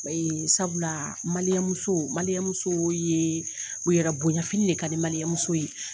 O ye sabula muso muso ye yɛrɛ bonya fini de ka di muso ye.